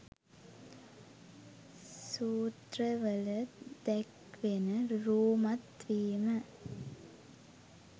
සූත්‍රවල දැක්වෙන රූමත් වීම